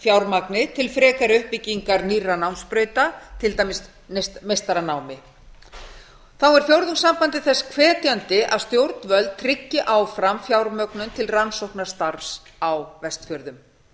fjármagni til frekari uppbyggingar nýrra námsbrauta til dæmis meistaranámi þá er fjórðungssambandið þess hvetjandi að stjórnvöld tryggi áfram fjármögnun til rannsóknastarfs á vestfjörðum